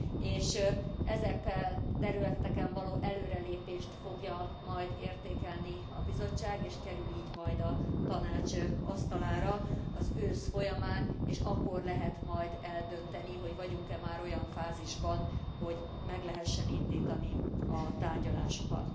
és ezeken a területeken való előrelépést fogja majd értékelni a Bizottság és kerül így majd a Tanács asztalára az ősz folyamán, és akkor lehet majd eldönteni, hogy vagyunk e már olyan fázisban, hogy meg lehessen indítani a tárgyalásokat.